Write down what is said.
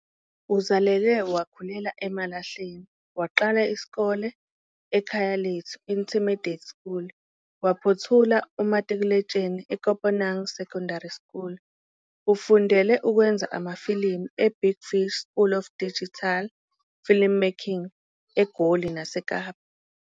Uzalelwe wakhulela eMalahleni, waqala isikole eKhayalethu Intermediate School waphothula umatikuletsheni eKopanang Senior Secondary School. Ufundele ukwenza amafilimu eBig Fish School of Digital Filmmaking eGoli naseKapa.